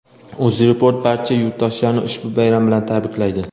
Uzreport barcha yurtdoshlarni ushbu bayram bilan tabriklaydi!.